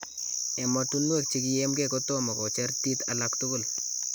Emotunwek chekiyimkee kotomo kocheer tiit alak tukul .